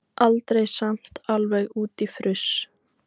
Aldrei samt alveg út í fruss.